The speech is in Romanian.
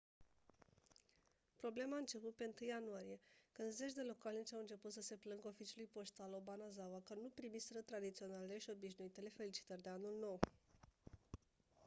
problema a început pe 1 ianuarie când zeci de localnici au început să se plângă oficiului poștal obanazawa că nu primiseră tradiționalele și obișnuitele felicitări de anul nou